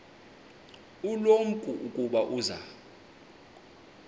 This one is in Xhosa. ulumko ukuba uza